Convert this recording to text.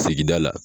Sigida la